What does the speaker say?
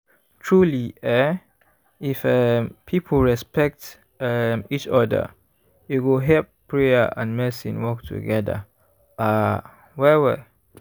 truely eeh if um people respect um each oda e go help prayer and medicine work togeda ah well well.